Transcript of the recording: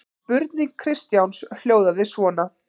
Spurning Kristjáns hljóðaði svona: